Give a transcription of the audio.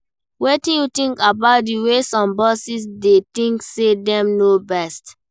Wetin you think about di way some bosses dey think say dem know best?